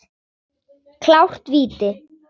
Klárt víti!